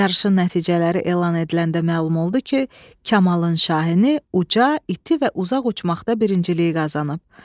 Yarışın nəticələri elan ediləndə məlum oldu ki, Kamalın Şahini uca, iti və uzaq uçmaqda birinciliyi qazanıb.